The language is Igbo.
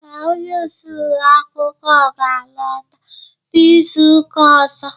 Ee, onye isi ulo akwụkwọ ga alota n'izuka ọzọ